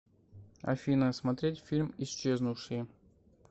афина смотреть фильм исчезнувшие